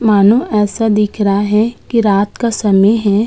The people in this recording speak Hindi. मानो ऐसा दिख रहा है की रात का समय है।